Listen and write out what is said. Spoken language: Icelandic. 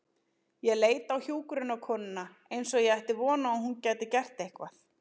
Ég leit á hjúkrunarkonuna eins og ég ætti von á að hún gæti gert eitthvað.